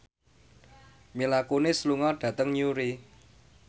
Mila Kunis lunga dhateng Newry